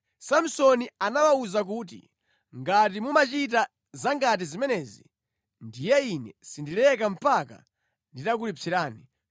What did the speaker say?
Samsoni anawawuza kuti, “Ngati mumachita zangati zimenezi, ndiye ine sindileka mpaka nditakulipsirani.”